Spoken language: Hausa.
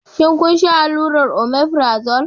Shin kun sha allurar omefrazole?